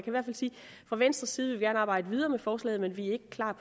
fra venstres side vi arbejde videre med forslaget men vi er ikke klar